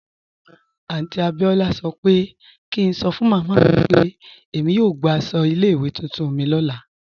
Aunty Abiola sọ́ pẹ̀ kí ǹ sọ́ fun màmá mi pe èmi yóò gbà àṣọ ilẹ̀-iwé tuntun mi lọ́lá.